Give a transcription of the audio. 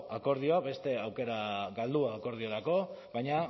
akordioak beste aukera galdua akordiorako baina